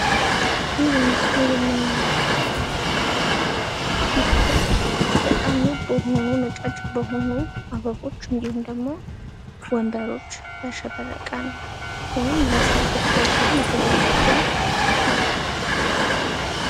ይህ በምስሉ ላይ የምንመለከተው ማስጌጫ ሲሆን በጣም ውብ በሆኑ ነጫጭ አበቦች እንዲሁም ደግሞ ወንበሮች ያሸበረቀ ሲሆን፤ ለሰርግ ፕሮግራም የተዘጋጀ ነው።